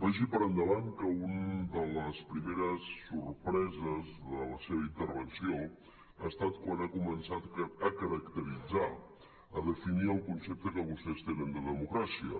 vagi per endavant que una de les primeres sorpreses de la seva intervenció ha estat quan ha començat a caracteritzar a definir el concepte que vostès tenen de democràcia